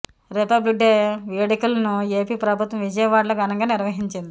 republic day వేడుకలను AP ప్రభుత్వం విజయవాడలో ఘనంగా నిర్వహించింది